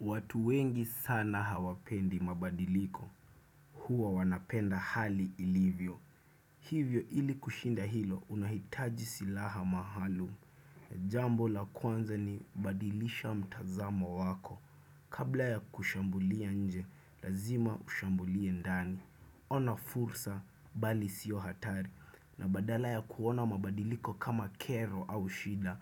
Watu wengi sana hawapendi mabadiliko, huwa wanapenda hali ilivyo. Hivyo ili kushinda hilo, unahitaji silaha maalum. Jambo la kwanza ni badilisha mtazamo wako. Kabla ya kushambulia nje, lazima ushambulie ndani. Ona fursa, bali siyo hatari. Na badala ya kuona mabadiliko kama kero au shida,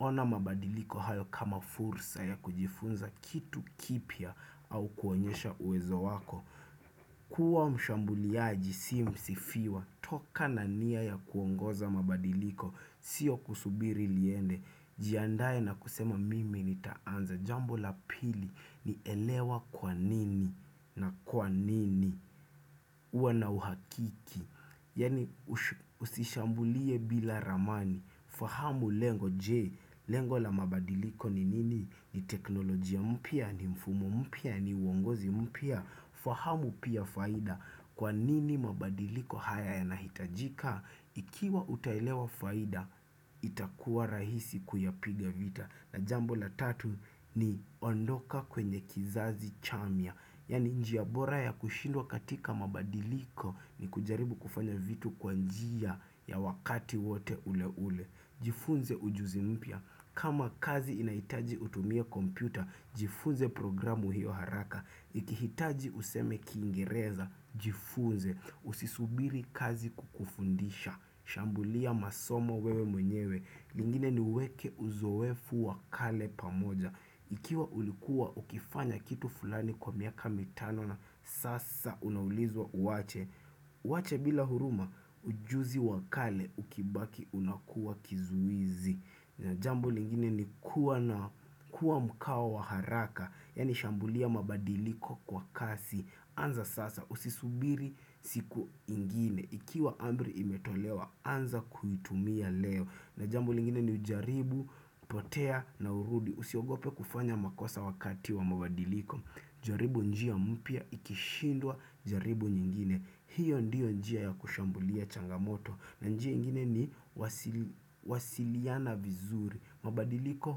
ona mabadiliko hayo kama fursa ya kujifunza kitu kipya au kuonyesha uwezo wako Kua mshambuliaji si msifiwa Toka nania ya kuongoza mabadiliko Sio kusubiri liende Jiandae na kusema mimi nitaanza Jambo la pili ni elewa kwa nini na kwa nini kuwa na uhakiki Yani usishambulie bila ramani fahamu lengo. Je, Lengo la mabadiliko ni nini? Ni teknolojia mpya? Ni mfumo mpya? Ni uongozi mpya? Fahamu pia faida. Kwa nini mabadiliko haya yanahitajika? Ikiwa utaelewa faida, itakuwa rahisi kuyapiga vita. Na jambo la tatu ni ondoka kwenye kizazi chamia, yani njia bora ya kushindwa katika mabadiliko ni kujaribu kufanya vitu kwa njia ya wakati wote ule ule. Jifunze ujuzi mpya, kama kazi inahitaji utumie kompyuta, jifunze programu hiyo haraka. Ikihitaji useme kingereza, jifunze, usisubiri kazi kukufundisha, shambulia masomo wewe mwenyewe. Lingine ni uweke uzoefu wa kale pamoja Ikiwa ulikuwa ukifanya kitu fulani kwa miaka mitano na sasa unaulizwa uache Uache bila huruma ujuzi wakale ukibaki unakuwa kizuizi na jambo lingine ni kuwa na kuwa mkawa wa haraka Yani shambulia mabadiliko kwa kasi anza sasa usisubiri siku ingine Ikiwa amri imetolewa anza kuitumia leo na jambo lingine ni ujaribu, potea na urudi. Usiogope kufanya makosa wakati wa mabadiliko. Jaribu njia mpya, ikishindwa jaribu nyingine hiyo ndiyo njia ya kushambulia changamoto na njia ingine ni wasiliana vizuri mabadiliko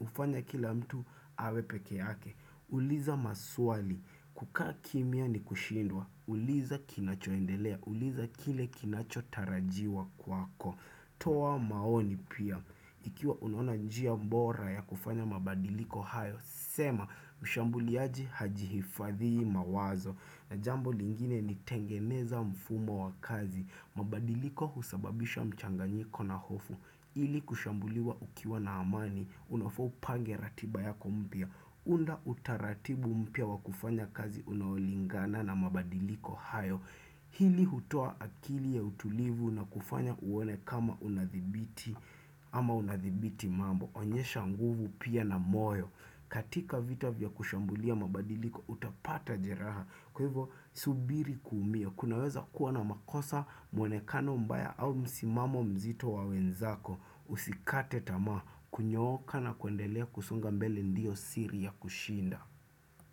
hufanya kila mtu awe pekeake uliza maswali, kukakimia ni kushindwa uliza kinachoendelea, uliza kile kinacho tarajiwa kwako toa maoni pia Ikiwa unaona njia bora ya kufanya mabadiliko hayo sema, ushambuliaji hajihifadhii mawazo na jambo lingine ni tengeneza mfumo wa kazi mabadiliko husababisha mchanganyiko na hofu ili kushambuliwa ukiwa na amani Unafa upange ratiba yako mpya unda utaratibu mpia wa kufanya kazi Unaolingana na mabadiliko hayo Hili hutuo akili ya utulivu na kufanya uone kama unadhibiti ama unadhibiti mambo onyesha nguvu pia na moyo katika vita vya kushambulia mabadiliko Utapata jeraha Kwa hivyo subiri kuumia kunaweza kuwa na makosa mwonekano mbaya au msimamo mzito wa wenzako Usikate tamaa Kunyooka na kuendelea kusonga mbele ndio siri ya kushinda.